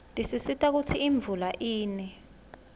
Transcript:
tisisita kutsi imvula ine